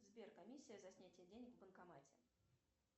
сбер комиссия за снятие денег в банкомате